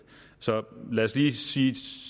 så lad os lige sige at